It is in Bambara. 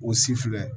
O si filɛ